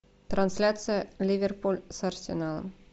трансляция ливерпуль с арсеналом